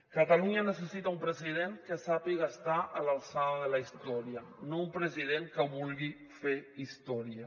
catalunya necessita un president que sàpiga estar a l’alçada de la història no un president que vulgui fer història